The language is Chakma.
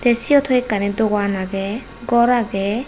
tay siyot hoyekkani dogan agey gor agey.